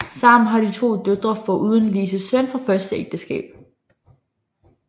Sammen har de to døtre foruden Lises søn fra første ægteskab